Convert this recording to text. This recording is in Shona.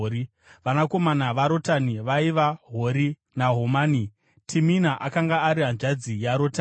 Vanakomana vaRotani vaiva: Hori naHomami. Timina akanga ari hanzvadzi yaRotani.